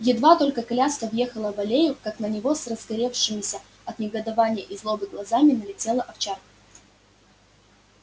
едва только коляска въехала в аллею как на него с разгоревшимися от негодования и злобы глазами налетела овчарка